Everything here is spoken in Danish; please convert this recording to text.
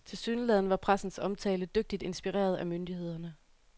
Tilsyneladende var pressens omtale dygtigt inspireret af myndighederne.